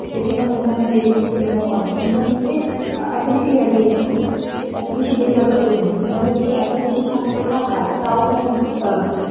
বেশি না অন্যান্য দেশের তুলনায় অনেক আ~ এত বেশি graduate নেই এত বেশি বেকারত্বও নেই কিন্তু আমাদের দেশে এত বেশি স্বাক্ষরতা হার টাও কেন আ